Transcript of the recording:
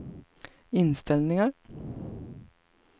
inställningar